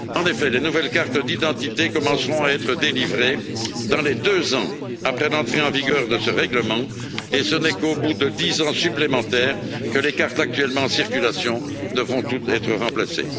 En effet, les nouvelles cartes d'identité commenceront à être délivrées dans les deux ans après l'entrée en vigueur de ce règlement, et ce n'est qu'au bout de 10 ans encore que les cartes actuellement en circulation devront toutes être remplacées.